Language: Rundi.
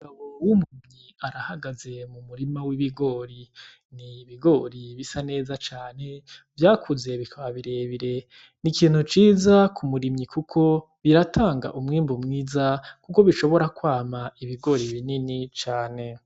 Umugabo w' umurimyi arahagaze mumurima w' ibigori, ni ibigori bisa neza cane vyakuze bikaba bire bire n' ikintu ciza kumurimyi kuko biratanga umwimbu mwiza kuko bishobora kwama ibigori binini cane.